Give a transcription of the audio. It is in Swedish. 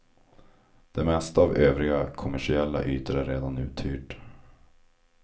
Det mesta av övriga kommersiella ytor är redan uthyrt.